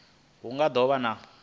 hu nga do vha na